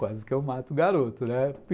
Quase que eu mato o garoto, né?